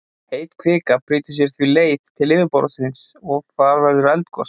Heit kvika brýtur sér því leið til yfirborðsins og þar verður eldgos.